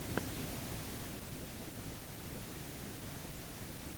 хочу посмотреть последний эпизод мультфильма про машу